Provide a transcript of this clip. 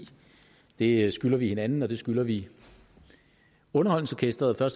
det skylder vi hinanden og det skylder vi underholdningsorkestret